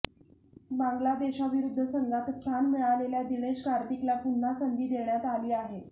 बांगलादेशविरुद्ध संघात स्थान मिळालेल्या दिनेश कार्तिकला पुन्हा संधी देण्यात आली आहे